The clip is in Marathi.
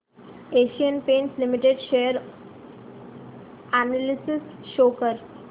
Asian Paints Limited share analysis show कर